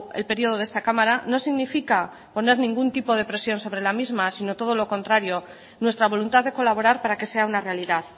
el período de esta cámara no significa poner ningún tipo de presión sobre la misma sino todo lo contrario nuestra voluntad de colaborar para que sea una realidad